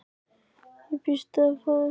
Og býst við að fá eitthvað?